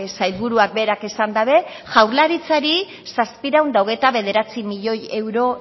sailburuak berak esan dabe jaurlaritzari zazpiehun eta hogeita bederatzi milioi euro